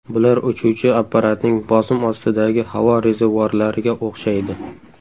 Bular uchuvchi apparatning bosim ostidagi havo rezervuarlariga o‘xshaydi.